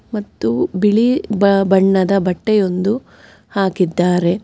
ಮತ್ತು ಬಿಳಿ ಬಣ್ಣದ ಬಟ್ಟೆಯೊಂದು ಹಾಕಿದ್ದಾರೆ.